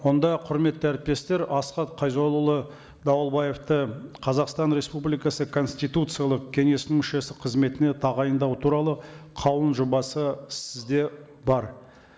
онда құрметті әріптестер асхат қайзоллаұлы дауылбаевты қазақстан республикасы конституциялық кеңестің мүшесі қызметіне тағайындау туралы қаулының жобасы сізде бар